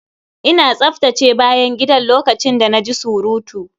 Ina tsaftace bayan gidan lokacin da na ji surutu.